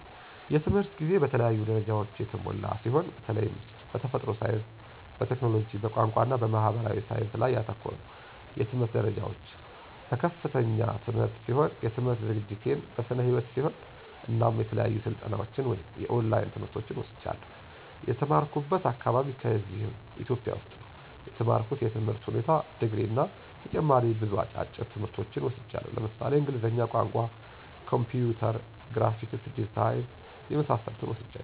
የትምህርት ጊዜ በተለያዩ ደረጃዎች የተሞላ ሲሆን በተላይም በተፈጥሮ ሳይንስ፣ በቴክኖሎጂ፣ በቋንቋ እና በማህበራዊ ሳይንስ ላይ ያተኮረ ነው። የትምህርት ደረጃዎች፦ በከፍተኛ ትምህርት ሲሆን የትምህርት ዝግጅቴን በስነ ህይወት ሲሆን እናም የተለያዩ ስልጠናዎች ወይም የኦላይን ትምህርቶችን ወስጃለሁ። የተማራኩበት አካባቢ ከዚህው ኢትዮጵያ ውስጥ ነው የተማርኩት የትምህር ሁኔታ ድግሪ እና ተጨማሪ ብዙ አጫጭር ትምህርቶች ወስጃለሁ ለምሳሌ እንግሊዝኛ ቋንቋ፣ ኮምፒውተር፣ ግራፊክስ ዲዛይን የመሳሰሉትን ወስጃለሁ።